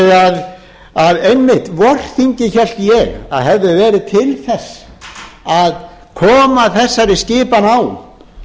þannig að einmitt vorþingið hélt ég að hefði verið til þess að koma þessari saman á